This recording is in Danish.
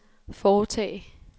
foretage